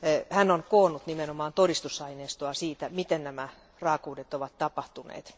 Hän on koonnut nimenomaan todistusaineistoa siitä, miten nämä raakuudet ovat tapahtuneet.